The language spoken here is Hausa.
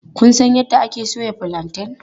Kun san yadda ake soya fulanten?